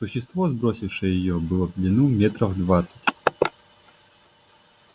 существо сбросившее её было в длину метров двадцать